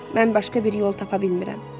Mən başqa bir yol tapa bilmirəm.